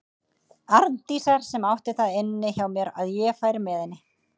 Arndísar sem átti það inni hjá mér að ég færi með henni.